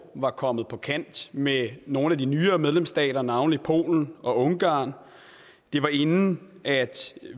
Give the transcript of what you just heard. var kommet på kant med nogle af de nyere medlemsstater navnlig polen og ungarn det var inden